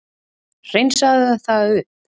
hreinsaðu það upp